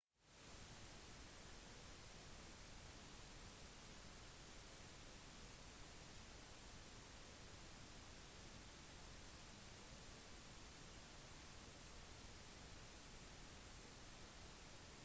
noen land har overdrevent strenge straffer selv for første gangs forseelser som kan innebære fengselsstraffer på over ti år eller død